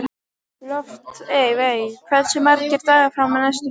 Loftveig, hversu margir dagar fram að næsta fríi?